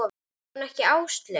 Hét hún ekki Áslaug?